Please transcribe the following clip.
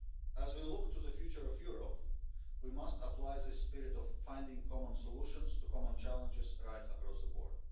As we look to the future of Europe, we must apply this spirit of finding common solutions to common challenges right across the board.